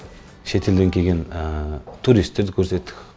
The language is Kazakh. шетелден келген туристерді көрсеттік